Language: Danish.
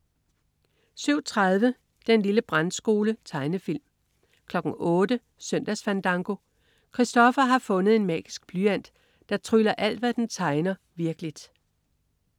07.30 Den lille brandskole. Tegnefilm 08.00 Søndagsfandango. Kristoffer har fundet en magisk blyant, der tryller alt, hvad den tegner virkeligt!